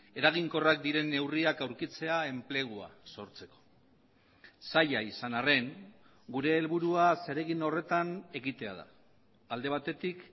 eraginkorrak diren neurriak aurkitzea enplegua sortzeko zaila izan arren gure helburua zeregin horretan ekitea da alde batetik